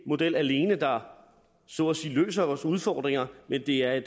model alene der så at sige løser vores udfordringer men det er